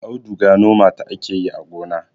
auduga noma ta ake yi a gonna